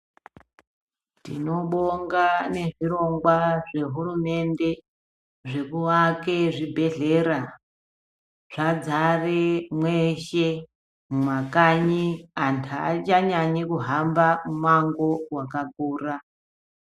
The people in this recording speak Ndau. Tinobonga nezvirongwa zvehurumende zvekuake zvibhedhlera zvadzare mweshe mumakanyi qnthu aachanyanyi kuhamba mumango wakakura.